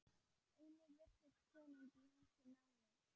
Einnig virtist konungi húsið snúast.